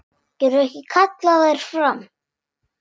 Getur ekki kallað þær fram.